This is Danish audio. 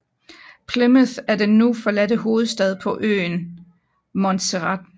Plymouth er den nu forladte hovedstad på øen Montserrat